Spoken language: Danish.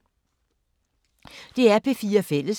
DR P4 Fælles